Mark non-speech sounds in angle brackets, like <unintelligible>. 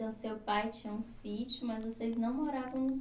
Seu pai tinha um sítio, mas vocês não moravam no <unintelligible>